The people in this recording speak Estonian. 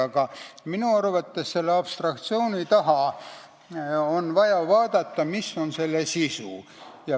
Aga minu arvates on vaja vaadata abstraktsiooni taha, mis on selle sisu.